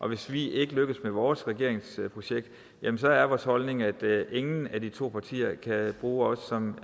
at hvis vi ikke lykkes med vores regeringsprojekt så er vores holdning at ingen af de to partier kan bruge os som